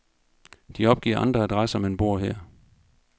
De opgiver andre adresser, men bor her.